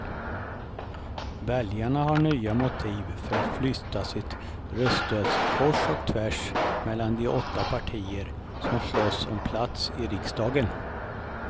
Väljarna har nya motiv för att flytta sitt röststöd kors och tvärs mellan de åtta partier som slåss om plats i riksdagen.